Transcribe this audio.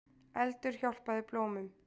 Eldur hjálpaði blómum